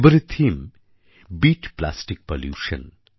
এবারের theme beat plastic Pollution